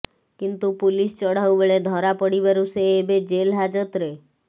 କିନ୍ତୁ ପୁଲିସ୍ ଚଢାଉ ବେଳେ ଧରାପଡିବାରୁ ସେ ଏବେ ଜେଲ ହାଜତରେ